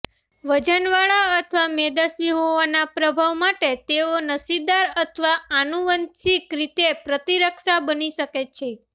વજનવાળા અથવા મેદસ્વી હોવાના પ્રભાવ માટે તેઓ નસીબદાર અથવા આનુવંશિક રીતે પ્રતિરક્ષા બની શકે છે